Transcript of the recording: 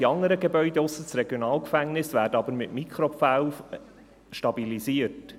Die anderen Gebäude ausser dem RG wurden aber mit Mikropfählen stabilisiert.